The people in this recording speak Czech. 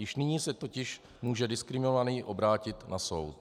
Již nyní se totiž může diskriminovaný obrátit na soud.